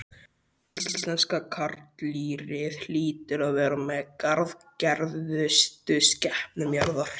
Íslenska karldýrið hlýtur að vera með harðgerðustu skepnum jarðar.